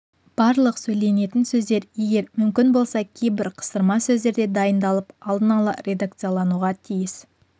барлық сөйленетін сөздер егер мүмкін болса кейбір қыстырма сөздер де дайындалып алдын ала редакциялануға тиіс